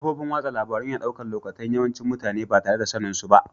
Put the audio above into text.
Kafofin wasan labaru ya na daukan lokatai'n yawancin mutane ba tare da sanin su ba.